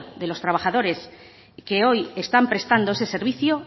de los trabajadores que hoy están prestando ese servicio